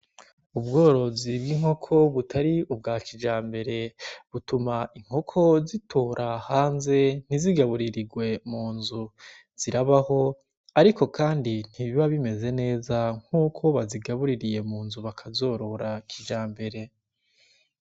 Ubworozi bw'inkoko butari ubwa kijambere, butuma inkoko zitora hanze ntizigaburirirwe mu nzu. Zirabaho, ariko kandi ntibiba bimeze neza nkuko bazigabuririye mu nzu bakazorora kijambere.